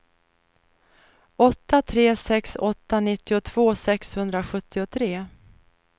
åtta tre sex åtta nittiotvå sexhundrasjuttiotre